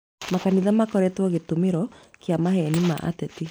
Makanitha makoretwo gĩtumĩro kĩa mehia ma ateti